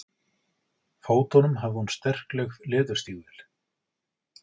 fótunum hafði hún sterkleg leðurstígvél.